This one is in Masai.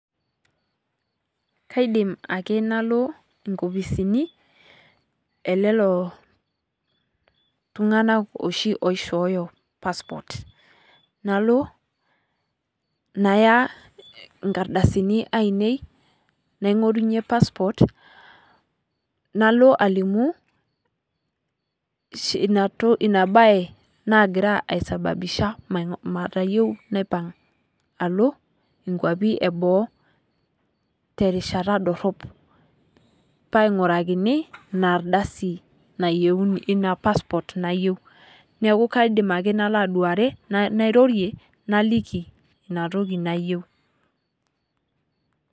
Kaidim ake nalo inkopisini elelo tunganak oshi oishoyo passport nalo naya inkardasini ainei naingorunye passport nalo alimu ina bae nagira aisababisha matayieu naipang alo nkwapi eboo terishata dorop pee aingurakini ina passport nayieu. neekiu kaidim ake nalo aduare naliki ina toki nayieu.